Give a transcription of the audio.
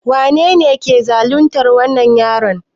Wanene ke zaluntar wannan yaron?